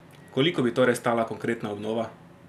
Koliko bi torej stala konkretna obnova?